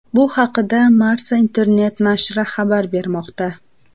Bu haqda Marca internet-nashri xabar bermoqda.